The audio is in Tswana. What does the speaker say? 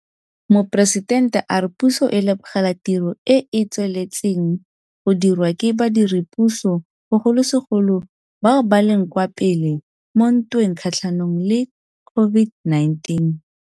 Moporesitente a re puso e lebogela tiro e e tsweletseng go dirwa ke badiredipuso, bogolosegolo bao ba leng kwa pele mo ntweng kgatlhanong le COVID-19.